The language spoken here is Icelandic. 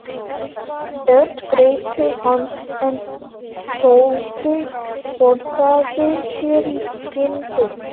Örn greip til hans en Tóti forðaði sér í skyndi.